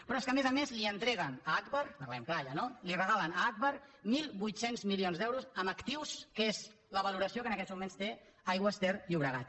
però és que a més a més li entreguen a agbar parlem clar ja no li regalen a agbar mil vuit cents milions d’euros en actius que és la valoració que en aquests moments té aigües ter llobregat